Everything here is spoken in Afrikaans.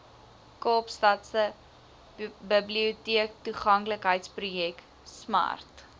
kaapstadse biblioteektoeganklikheidsprojek smart